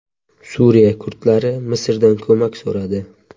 Suriya kurdlari Misrdan ko‘mak so‘radi.